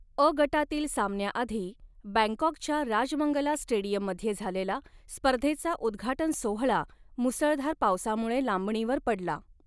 अ गटातील सामन्याआधी बँकाॅकच्या राजमंगला स्टेडियममध्ये झालेला स्पर्धेचा उद्घाटन सोहळा मुसळधार पावसामुळे लांबणीवर पडला.